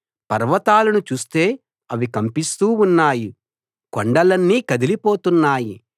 పర్వతాలను చూస్తే అవి కంపిస్తూ ఉన్నాయి కొండలన్నీ కదిలిపోతున్నాయి